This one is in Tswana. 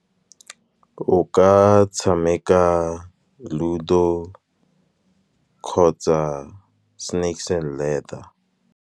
O ka tshameka ludo kgotsa snakes and ladder.